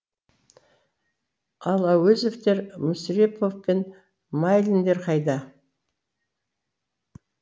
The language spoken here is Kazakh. ал әуезовтер мүсірепов пен майлиндер қайда